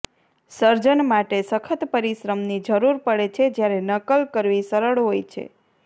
સર્જન માટે સખત પરિશ્રમની જરૂર પડે છે જ્યારે નકલ કરવી સરળ હોય છે